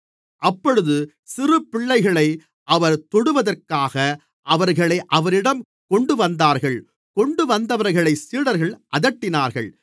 அப்பொழுது சிறு பிள்ளைகளை அவர் தொடுவதற்காக அவர்களை அவரிடம் கொண்டுவந்தார்கள் கொண்டுவந்தவர்களைச் சீடர்கள் அதட்டினார்கள்